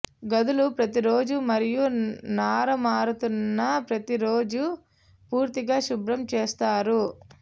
గదులు ప్రతి రోజు మరియు నార మారుతున్న ప్రతి రోజు పూర్తిగా శుభ్రం చేస్తారు